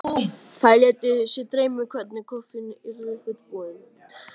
Þær létu sig dreyma um hvernig kofinn yrði fullbúinn.